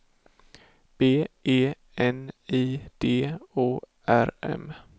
B E N I D O R M